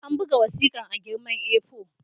An buga wasikar a girman A4.